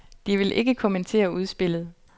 De vil ikke kommentere udspillet.